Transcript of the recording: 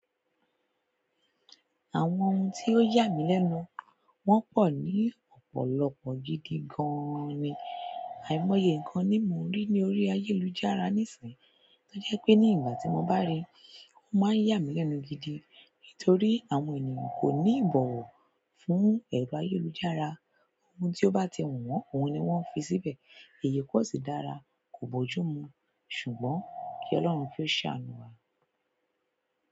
Àwọn ohun tí ó yà mí lẹ́nu, wọ́n pọ̀ ní ọ̀pọ̀lọpọ̀ gidi gan-an ni. Àìmọye nǹkan ni mo ń rí ní orí ayélujára nisin, tojepe ní ìgbà tí mo rí, òun má ya mi lẹ́nu nítorí àwọn ènìyàn ò ní ìbọ̀wọ̀ fún ẹ̀rọ ayélujára. Ohun tí ó bá ti wù wọ́n, òhun ni wọ́n fi síbẹ̀. Èyí kò sì dára, kò bójú mu. Ṣùgbọ́n kí Oloun kí o ṣàánú wa.